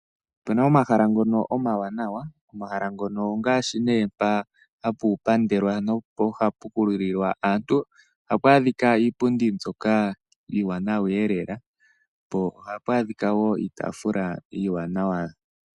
Opena omahala ngono omawanawa. omahala ngono ongaashi ne mpa hapu pandelwa nosho yo hapu kululilwa aantu. Ohapu adhika iipundi mbyoka iiwanwa ee lela po ohapu adhika wo iitaafula iiwanawa.